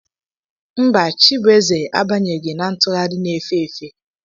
Mba, chibueze abanyeghị na ntụgharị na efe efe.